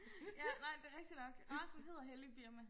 ja nej det rigtig nok racen hedder hellig birma